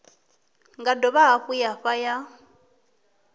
nga dovha hafhu ya fha